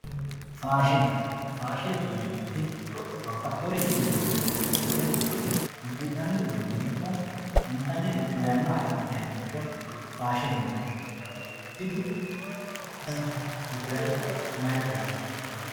Faashine, faashinete yineemmoti babbaxxinorinni loonsonnitta ikkite udi'nanni uduuncho ikko intannire yanna agadhe dayinoricho faashine yinanni, tini danchate udirate mayi coyinino.